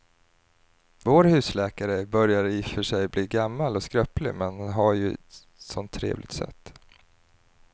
Vår husläkare börjar i och för sig bli gammal och skröplig, men han har ju ett sådant trevligt sätt!